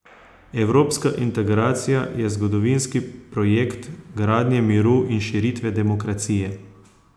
Evropska integracija je zgodovinski projekt gradnje miru in širitve demokracije.